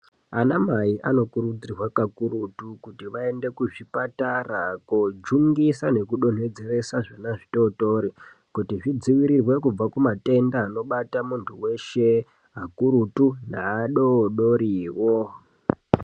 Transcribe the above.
Ana mai anokurudzirwa kakurutu kuti vaende kuzvipatara kojungisa nekudonhedzeresa zvana zvitotori kuti zvidzivirirwe kubva kumatenda anobata muntu weshe akuru neadodoriwo.